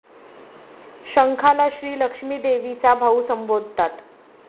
शंखाला श्री लक्ष्मी देवीचा भाऊ संबोधतात.